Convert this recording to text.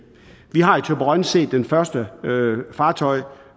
set det første fartøj der